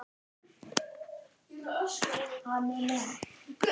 Á toppi riðilsins- hvernig?